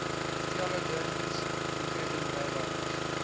theologians including rabbis